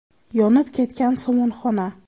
Yonib ketgan somonxona.